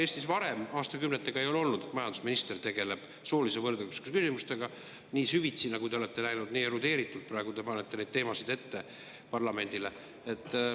Eestis varasematel aastakümnetel ei olnud seda, et majandusminister oleks tegelenud soolise võrdõiguslikkuse küsimustega nii süvitsi, nagu te olete läinud, nii erudeeritult, nagu te praegu panete neid teemasid ette parlamendile.